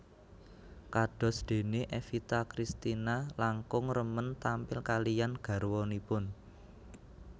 Kados déné Evita Cristina langkung remen tampil kaliyan garwanipun